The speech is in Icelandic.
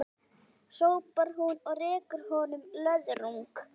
hrópar hún og rekur honum löðrung.